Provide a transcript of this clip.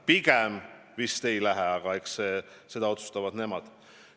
Pigem vist ei lähe, aga eks seda otsustavad nemad.